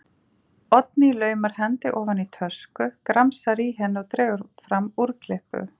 Oddný laumar hendi ofan í tösku, gramsar í henni og dregur fram úrklippu.